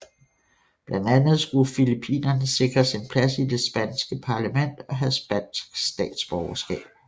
Blandt andet skulle filippinerne sikres en plads i det spanske parlament og have spansk statsborgerskab